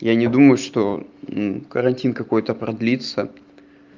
я не думаю что карантин какой-то продлится